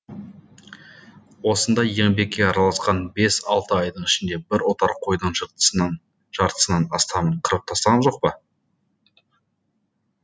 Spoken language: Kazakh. осында еңбекке араласқан бес алты айдың ішінде бір отар қойдың жартысынан астамын қырып тастаған жоқ па